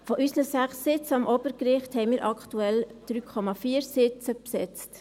Von unseren 6 Sitzen am Obergericht, haben wir aktuell 3,4 Sitze besetzt.